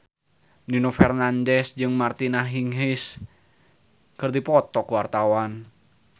Nino Fernandez jeung Martina Hingis keur dipoto ku wartawan